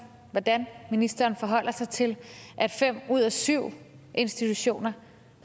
hvordan ministeren forholder sig til at fem ud af syv institutioner